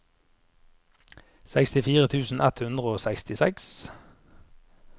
sekstifire tusen ett hundre og sekstiseks